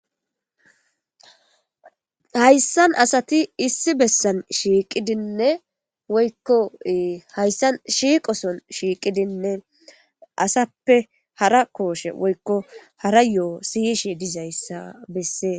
Haysan asati issi besan shiqidine woyko haysan shiqo Sohon shiqidine asape hara koshe woyko hara yoho siyishe dizaysa beses